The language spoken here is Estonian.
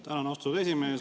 Tänan, austatud esimees!